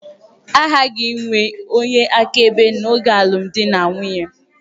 A ghaghị inwe onye akaebe n'oge alụmdi na nwunye.